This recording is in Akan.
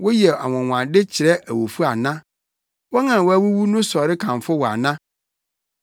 Woyɛ anwonwade kyerɛ awufo ana? Wɔn a wɔawuwu no sɔre kamfo wo ana?